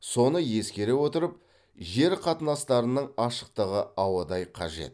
соны ескере отырып жер қатынастарының ашықтығы ауадай қажет